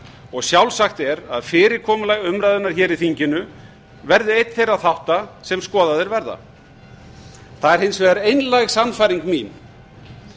og sjálfsagt er að fyrirkomulag umræðunnar hér í þinginu verði einn þeirra þátta sem skoðaðir verða það er hins vegar einlæg sannfæring mín